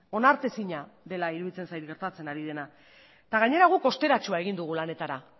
onartezina dela iruditzen zait gertatzen ari dena eta gainera guk osteratxoa egin dugu lanetara